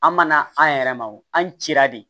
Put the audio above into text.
An mana an yɛrɛ ma wo an cira de